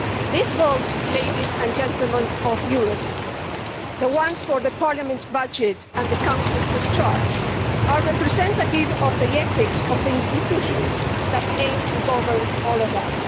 These votes, ladies and gentlemen of Europe, the ones for Parliament's budget and the Council's discharge, are representative of the ethics of the institutions that aim to govern all of us.